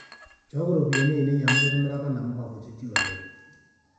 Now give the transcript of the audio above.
nchooki ropiyani ainei amu kitimiraka namuka kutitik oleng